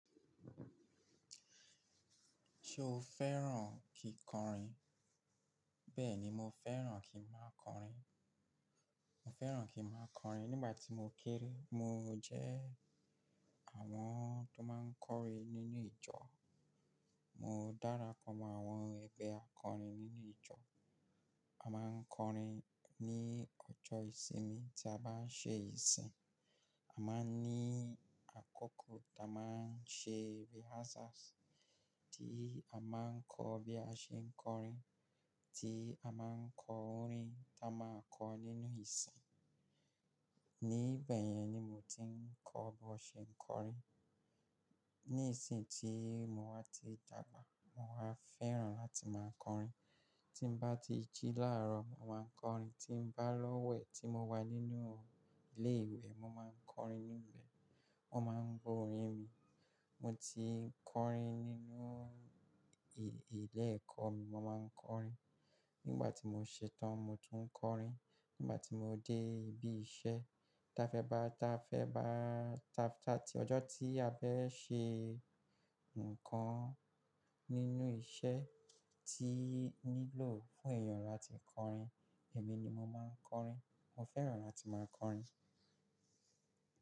Ṣo fẹ́ràn kí kọrin? Bẹ́ẹ̀ni, mo fẹ́ràn kí i máa kọrin. Mo fẹ́ràn kí i máa kọrin nígbà tí mo kéré. Mo jẹ́ àwọn tó máa ń kọrin nínú ìjọ. Mo dára pọ̀ mọ́ àwọn ẹgbẹ́ akọrin nínú ìjọ. A máa ń kọrin ní ọjọ́ ìsinmi tí a bá ń ṣe ìsìn. A máa ní àkókò ta máa ń ṣe rehearsals, tí a máa ń kọ́ bí a ṣe ń kọrin, tí a máa ń kọ orin tí a máa kọ nínú ìsìn. Ní ìbẹ̀ yẹn ni mo ti ń kọ́ bo ṣe ń kọrin. Nísìń tí mo wá ti dàgbà, mo wá fẹ́ràn láti máa kọrin. Tí n bá ti jí láàárọ̀, mo máa kọrin. Tí n bá lọ́wẹ̀, tí mo wà nínú ilé ìwé, mo máa ń kọrin níbẹ̀. Wọn maa n gbọ orin mi mo ti ń kọrin nínú ilé ẹ̀kọ́ mi, mo máa ń kọrin. Nígbà tí mo ṣetán, mo tún ń kọrin. Nígbà tí mo dé ibi iṣẹ́, ọjọ́ tí a fẹ́ ṣe nǹkan nínú iṣẹ́ tí nílò fún èèyàn láti kọrin, èmi ni mo máa ń kọrin. Mo fẹ́ràn láti máa kọrin.